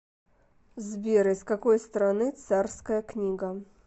сбер из какой страны царская книга